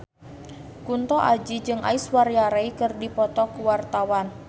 Kunto Aji jeung Aishwarya Rai keur dipoto ku wartawan